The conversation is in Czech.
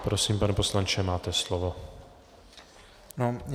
Prosím, pane poslanče, máte slovo.